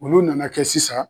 Olu nana kɛ sisan